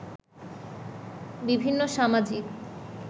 বিভিন্ন সামাজিক